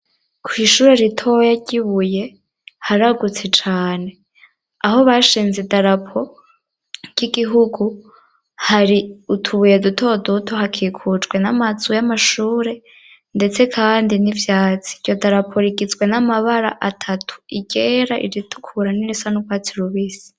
Kw'ishure ritoya ry'i Buye haragutse cane. Aho bashinze idarapo ry'igihugu hari utubuye dutoduto, hakikujwe n'amazu y'amashure ndetse kandi n'ivyatsi. Iryo darapo rigizwe n'amabara atatu: iryera, iritukura nirisa n'ubwatsi rubisi.